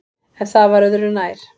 En það var öðu nær.